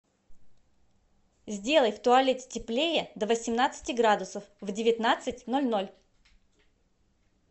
сделай в туалете теплее до восемнадцати градусов в девятнадцать ноль ноль